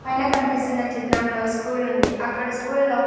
పైన కనిపిస్తున్న చిత్రంలో స్కూల్ ఉంది అక్కడ స్కూల్లో .